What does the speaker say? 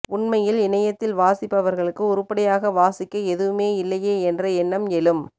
உண்மையில் இணையத்தில் வாசிப்பவர்களுக்கு உருப்படியாக வாசிக்க எதுவுமே இல்லையே என்ற எண்ணம் எழும்